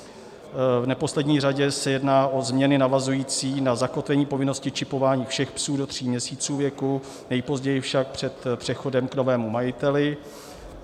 V neposlední řadě se jedná o změny navazující na zakotvení povinnosti čipování všech psů do tří měsíců věku, nejpozději však před přechodem k novému majiteli.